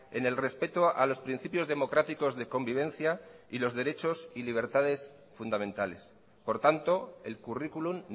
en el respeto a los principios democráticos de convivencia y los derechos y libertades fundamentales por tanto el currículum